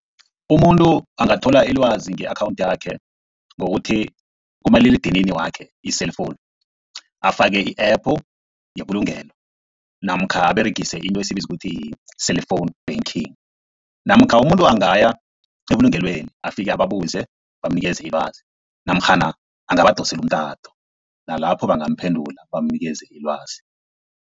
Umuntu angathola ilwazi nge-akhawunthu yakhe ngokuthi kumaliledinini wakhe i-cellphone afake i-epu yebulungelo, namkha aberegise into esiyibiza ukuthi yi-cellphone banking, namkha umuntu angaya ebulungelweni afike ababuze bamunikeze ilwazi namkhana angabadosela umtato nalapho bangamphendula bamunikeze ilwazi.